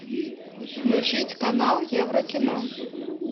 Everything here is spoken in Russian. включить канал еврокино